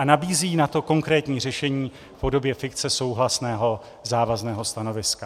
A nabízíme na to konkrétní řešení v podobě fikce souhlasného závazného stanoviska.